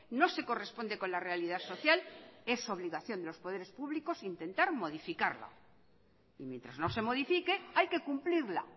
no se corresponde con la realidad social es obligación de los poderes públicos intentar modificarla y mientras no se modifique hay que cumplirla